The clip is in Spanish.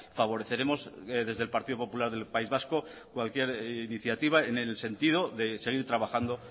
favoreceremos desde el partido popular del país vasco cualquier iniciativa en el sentido de seguir trabajando